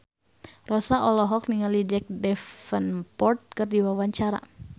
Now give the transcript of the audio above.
Rossa olohok ningali Jack Davenport keur diwawancara